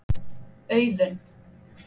Auðunn